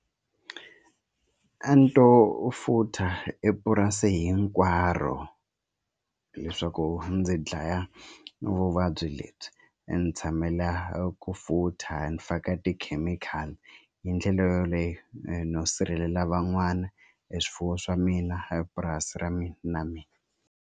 A ni to futha epurasi hinkwaro leswaku ndzi dlaya vuvabyi lebyi ni tshamela ku futha ni faka tikhemikhali hi ndlela yoleyo no sirhelela van'wana e swifuwo swa mina epurasi ra mina na mina.